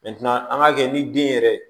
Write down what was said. an ŋ'a kɛ ni den yɛrɛ